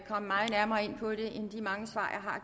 komme meget nærmere ind på det end de mange svar